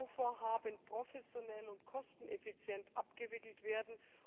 die Bauvorhaben professionell und kosteneffizient abgewickelt werden.